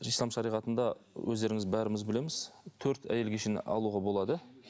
ислам шариғатында өздеріңіз бәріміз білеміз төрт әйелге дейін алуға болады